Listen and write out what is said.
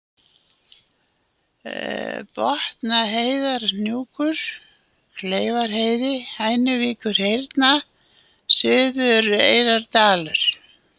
Botnaheiðarhnúkur, Kleifaheiði, Hænuvíkurhyrna, Suðureyrardalur